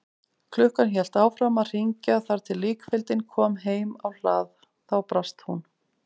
Klukkan hélt áfram að hringja þar til líkfylgdin kom heim á hlað, þá brast hún.